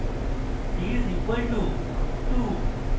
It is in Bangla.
d is equal two 2